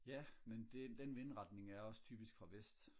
ja men det den vindretning er også typisk fra vest